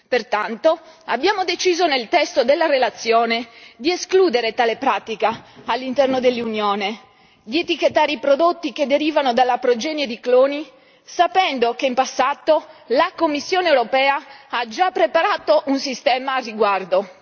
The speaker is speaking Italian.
Pertanto, abbiamo deciso nel testo della relazione di escludere tale pratica all'interno dell'Unione, di etichettare i prodotti che derivano dalla progenie di cloni, sapendo che in passato la Commissione europea ha già preparato un sistema al riguardo.